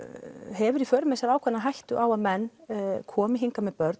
hefur í för með sér einhverja ákveðna hættu á að menn komi hingað með börn